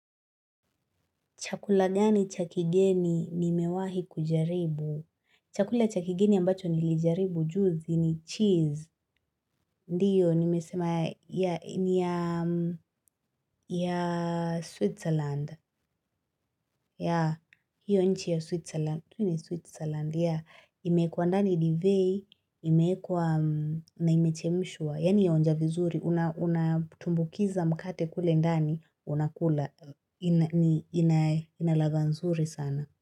Chakula gani cha kigeni nimewahi kujaribu? Chakula cha kigeni ambacho nilijaribu juzi ni cheese. Ndiyo, nimesema ya Switzerland. Ya, hiyo nchi ya Switzerland. Tu ni Switzerland. Ya, imekuwa ndani divai, imeekwa na imechemshwa. Yaani yaonja vizuri, unatumbukiza mkate kule ndani, unakula. Inaladha nzuri sana.